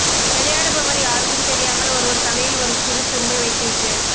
விளையாடுபவர் யாருக்கும் தெரியாமல் ஒருவர் தலையில் ஒரு சிறு துரும்பை வைத்துவிட்டு